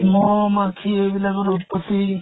মহ মাখি এইবিলাকৰো উত্পত্তি